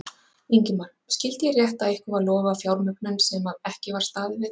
Ingimar: Skyldi ég rétt að ykkur var lofað fjármögnun sem að ekki var staðið við?